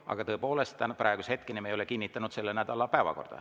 Aga tõepoolest, praeguse hetkeni me ei ole kinnitanud selle nädala päevakorda.